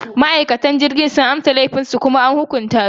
Ma’aikatan jirgin sun amsa laifinsu kuma an hukunta su.